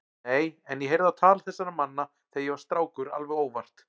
Nei, en ég heyrði á tal þessara manna þegar ég var strákur alveg óvart.